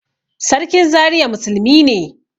Sarkin Zariya musulmi ne